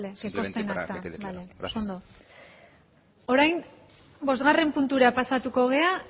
simplemente para que quede claro gracias vale que conste en acta bale oso ondo orain bosgarren puntura pasatuko gara